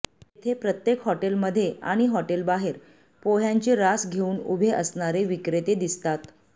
तेथे प्रत्येक हॉटेलमध्ये आणि हॉटेलबाहेर पोह्यांची रास घेऊन उभे असणारे विक्रेते दिसतात